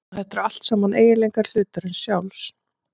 Þetta eru allt saman eiginleikar hlutarins sjálfs.